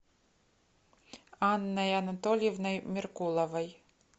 анной анатольевной меркуловой